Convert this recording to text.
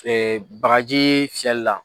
Ɛɛ bagaji fiyɛli la